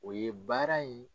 O ye baara in